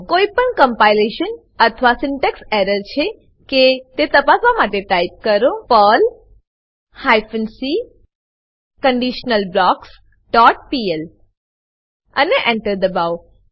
કોઈપણ કમ્પાઈલેશન અથવા syntax error છે કે તે તપાસવા માટે ટાઈપ કરો Perl hyphen c conditional blocks dot PL અને Enter એન્ટર દબાવો